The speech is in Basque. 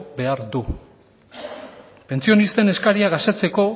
behar du pentsionisten eskariak asetzeko